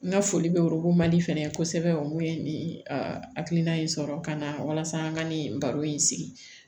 N ka foli bɛ fɛnɛ kosɛbɛ mun ye nin hakilina in sɔrɔ ka na walasa an ka nin baro in sigi